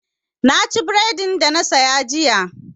Na ci bredin da na saya jiya.